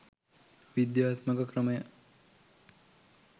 විද්‍යාත්මක ක්‍රමය